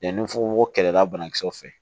Yanni nfufuko kɛlɛlabanakisɛw fɛ